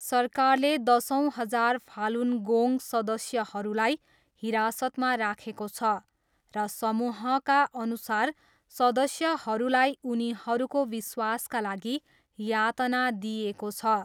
सरकारले दसौँ हजार फालुन गोङ्ग सदस्यहरूलाई हिरासतमा राखेको छ र समूहका अनुसार सदस्यहरूलाई उनीहरूको विश्वासका लागि यातना दिइएको छ।